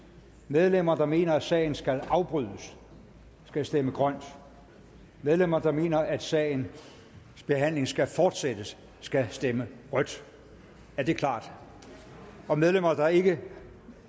medlemmer der mener at sagen skal afbrydes skal stemme grønt medlemmer der mener at sagens behandling skal fortsættes skal stemme rødt er det klart og medlemmer der ikke